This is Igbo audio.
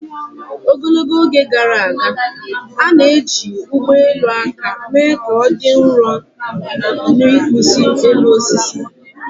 Ogologo oge gara aga, a na-eji ụgbọ elu aka mee ka ọ dị nro na ịkpụzi elu osisi